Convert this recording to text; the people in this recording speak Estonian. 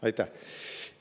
Aitäh!